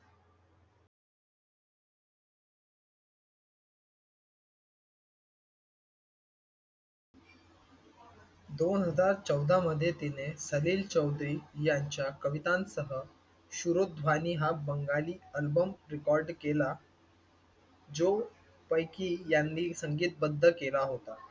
दोन हजार चौदा मध्ये तिने सलील चौधरी यांच्या कवितांसह शूरोध्वानी हा बंगाली अल्बम रेकॉर्ड केला. जो पैकी यांनी संगीतबद्ध केला होता.